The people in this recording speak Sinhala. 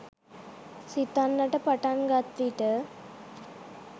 සිතන්නට පටන් ගත් විට